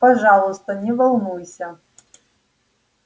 пожалуйста не волнуйся